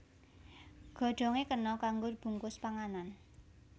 Godhongé kena kanggo bungkus panganan